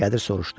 Qədir soruşdu: